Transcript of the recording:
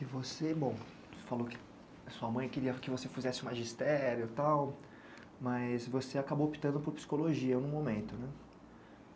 E você, bom, você falou que sua mãe queria que você fizesse o magistério e tal, mas você acabou optando por psicologia no momento, né?